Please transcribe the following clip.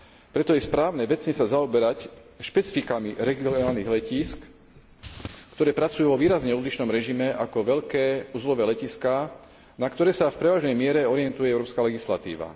Preto je správne vecne sa zaoberať špecifikami regionálnych letísk, ktoré pracujú vo výrazne odlišnom režime ako veľké uzlové letiská, na ktoré sa v prevažnej miere orientuje európska legislatíva.